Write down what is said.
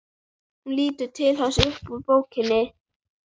Hún lítur til hans upp úr bókinni.